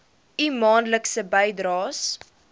u maandelikse bydraes